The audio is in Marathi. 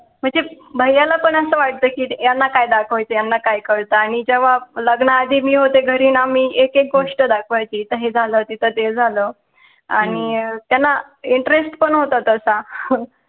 म्हणजे, भैयाला पण असं वाटत कि यांना काय दाखवायचं यांना काय कळत, आणि जेव्हा लग्न आधी मी होते घरी ना मी एक एक गोष्ट दाखवायची, इथं हे झालं तिथं ते झालं, आणि त्यांना पण होता तसा